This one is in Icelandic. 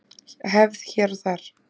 Hefð hér og þar